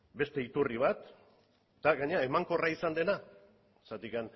beste iturri bat eta emankorra izan dena zergatik